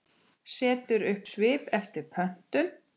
Setur upp svip eftir pöntun.